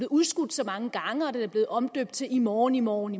udskudt så mange gange og den er blevet omdøbt til i morgen i morgen